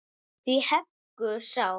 Hví heggur sá.